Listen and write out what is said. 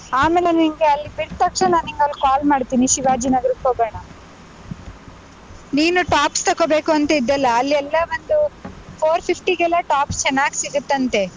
ಆಮೇಲೆ ನಿಂಗೆ ಅಲ್ಲಿ ಬಿಟ್ ತಕ್ಷಣ ನಿಂಗ್ ಅಲ್ call ಮಾಡ್ತೀನಿ, ಶಿವಾಜಿ ನಗರಕ್ಕ್ ಹೋಗೋಣ. ನೀನು tops ತಗೋಬೇಕು ಅಂತಿದ್ದೆಲ್ಲಾ, ಅಲ್ಲಿ ಎಲ್ಲಾ ಒಂದು four fifty ಗೆಲ್ಲಾ tops ಚೆನ್ನಾಗ್ ಸಿಗತ್ತಂತೆ.